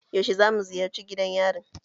Yaushe za mu ziyarce gidan yarin?